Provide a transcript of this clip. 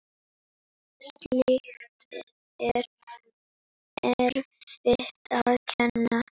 Slíkt er erfitt að kenna.